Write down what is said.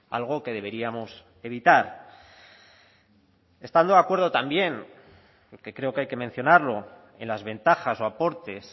algo que deberíamos evitar estando de acuerdo también porque creo que hay que mencionarlo en las ventajas o aportes